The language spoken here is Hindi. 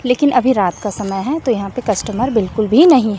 लेकिन अभी रात का समय है तो यहाँ पे कस्टमर बिल्कुल भी नहीं हैं।